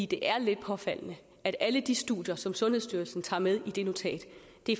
det er lidt påfaldende at alle de studier som sundhedsstyrelsen tager med i det notat